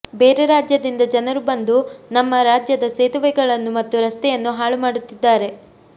ಬೇರೆ ರಾಜ್ಯದಿಂದ ಜನರು ಬಂದು ನಮ್ಮ ರಾಜ್ಯದ ಸೇತುವೆಗಳನ್ನು ಮತ್ತು ರಸ್ತೆಯನ್ನು ಹಾಳು ಮಾಡುತ್ತಿದ್ದಾರೆ